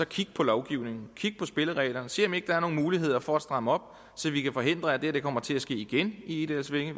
kigge på lovgivningen kigge på spillereglerne og se om ikke der er nogen muligheder for at stramme op så vi kan forhindre at det her kommer til at ske igen i egedalsvænge